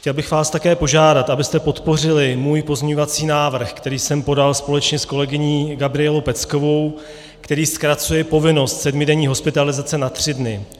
Chtěl bych vás také požádat, abyste podpořili můj pozměňovací návrh, který jsem podal společně s kolegyní Gabrielou Peckovou, který zkracuje povinnost sedmidenní hospitalizace na tři dny.